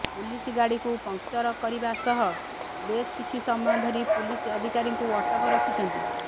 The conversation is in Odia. ପୁଲିସ ଗାଡ଼ିକୁ ପଙ୍କଚର କରିବା ସହ ବେଶ କିଛି ସମୟ ଧରି ପୁଲିସ ଅଧିକାରୀଙ୍କୁ ଅଟକ ରଖିଛନ୍ତି